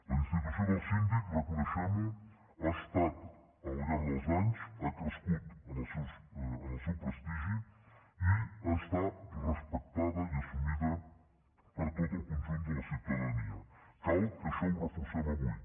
la institució del síndic reconeixemho ha estat al llarg dels anys ha crescut en el seu prestigi i està respectada i assumida per tot el conjunt de la ciutadania cal que això ho reforcem avui